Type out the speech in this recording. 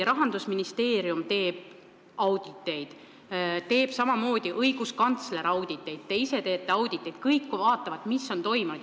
Rahandusministeerium teeb auditeid, samamoodi õiguskantsler teeb auditeid, te ise teete auditit – kõik vaatavad, mis on toimunud.